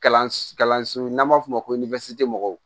Kalanso n'an b'a f'o ma ko mɔgɔw